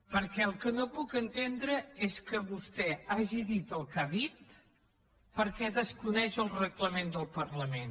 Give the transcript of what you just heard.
perquè el que no puc entendre és que vostè hagi dit el que ha dit perquè desconeix el reglament del parlament